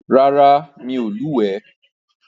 Rárá, mi ò lúwèé.